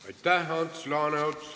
Aitäh, Ants Laaneots!